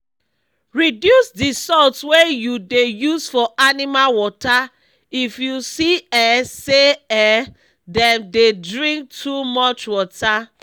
reduce d salt wey u dey use for animal water if you see um say um dem dey drink too much water